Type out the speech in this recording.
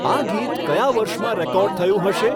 આ ગીત કયા વર્ષમાં રેકોર્ડ થયું હશે